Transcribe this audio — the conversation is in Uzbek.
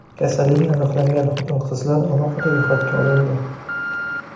Kasalligi aniqlangan xotin-qizlar alohida ro‘yxatga olindi.